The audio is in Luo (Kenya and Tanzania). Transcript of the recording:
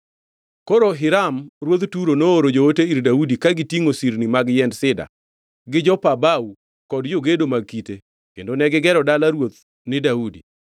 Koro Hiram ruodh Turo nooro joote ir Daudi ka gitingʼo sirni mag yiend sida gi jopa bao kod jogedo mag kite, kendo negigero dala ruoth ni Daudi.